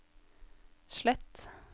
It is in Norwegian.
slett